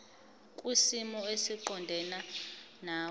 kwisimo esiqondena nawe